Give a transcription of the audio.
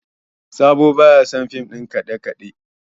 Sabo ba ya son fim ɗin kaɗe-kaɗe